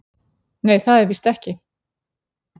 """Nei, það er víst ekki."""